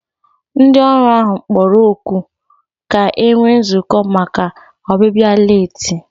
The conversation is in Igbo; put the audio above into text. Ndị ọrụ ahụ kpọrọ oku ka e nwee nzukọ maka ọbịbịa leeti